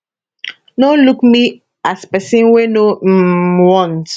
no look me as pesin wey no um want